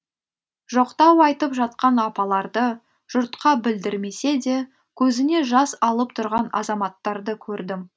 жоқтау айтып жатқан апаларды жұртқа білдірмесе де көзіне жас алып тұрған азаматтарды көрдім